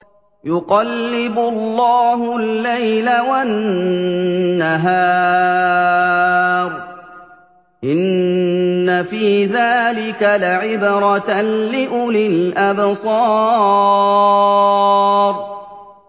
يُقَلِّبُ اللَّهُ اللَّيْلَ وَالنَّهَارَ ۚ إِنَّ فِي ذَٰلِكَ لَعِبْرَةً لِّأُولِي الْأَبْصَارِ